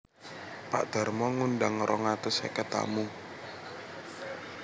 Pak Darmo ngundang rong atus seket tamu